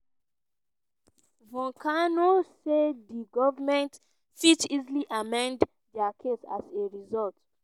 voncannon say di goment fit easily amend dia case as a result.